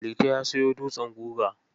Liti ya sayo dutsen guga.